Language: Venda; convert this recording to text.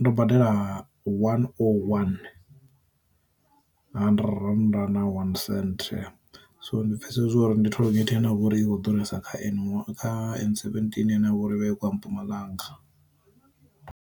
ndo badela one o one hundred rannda na one senthe, so ndi pfesesa uri ndi toll gate inavho uri i kho ḓuresa kha N one kha N seventeen ine yavha uri vha i khou ya mpumalanga.